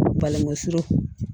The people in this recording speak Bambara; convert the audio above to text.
Balangusu